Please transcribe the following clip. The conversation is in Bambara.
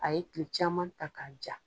A ye tile caman ta k'a ja.